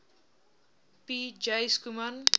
p j schoeman